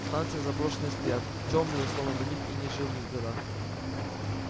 станции заброшенные стоят тёмные словно на них и не жил никогда